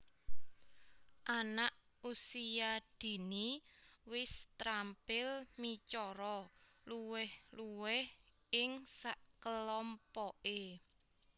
Anak Usia Dini wis terampil micara luwih luwih ing sakelompoke